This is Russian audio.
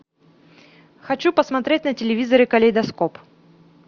хочу посмотреть на телевизоре калейдоскоп